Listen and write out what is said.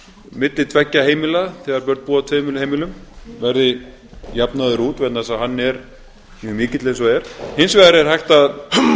milli tveggja heimila þegar börn búa á tveimur heimilum verði jafnaður út vegna þess að hann er mjög mikill eins og er hins vegar er hægt að